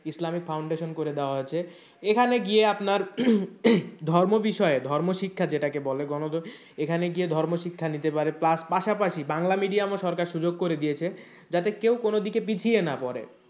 ইসলামী foundation করে দেওয়া হয়েছে এখানে গিয়ে আপনার ধর্ম বিষয়ে ধর্ম শিক্ষা যেটাকে বলে গণ এখানে গিয়ে ধর্ম শিক্ষা নিতে পারে plus পাশাপাশি বাংলা medium ও সরকার সুযোগ করে দিয়েছে যাতে কেউ কোন দিকে পিছিয়ে না পরে।